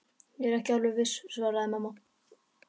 Ég er ekki alveg viss svaraði mamma.